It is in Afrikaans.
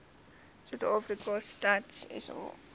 suidafrika stats sa